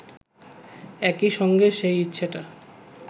একই সঙ্গে সেই ইচ্ছেটা